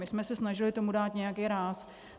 My jsme se snažili tomu dát nějaký ráz.